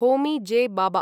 Homi J. Baba